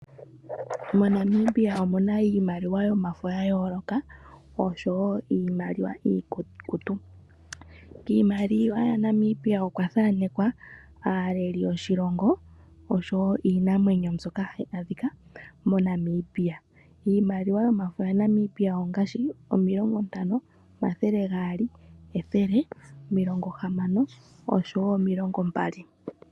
MoNamibia omuna iimaliwa yomafo yayooloka oshowoo iimaliwa iikukutu. Kiimaliwa yaNamibia okwa thanekwa aaleli yoshilongo oshowoo iinamwenyo mbyoka hayi adhika moNamibia. Iimaliwa yomafo yaNamibia ongaashi 50,100, 30, 200,60 oshowoo 20.